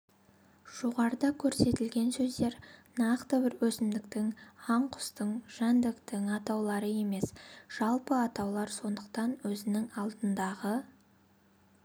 жоғарыда көрсетілген сөздер нақты бір өсімдіктің аңқұстың жәндіктің атаулары емес жалпы атаулар сондықтан өзінің алдындағы